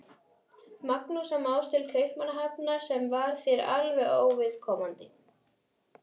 Magnúsar Más til Kaupmannahafnar, sem var þér alveg óviðkomandi.